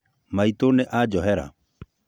Maitũ nĩ anjohera